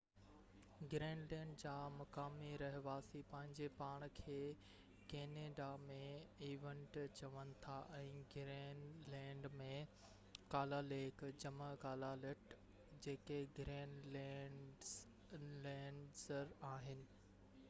Greenland جا مقامي رهواسي پنهنجي پاڻ کي ڪينيڊا ۾ انويٽ چون ٿا ۽ گرين لينڊ ۾ ڪالاليق جمع ڪالالٽ، جيڪي گرين لينڊر آهن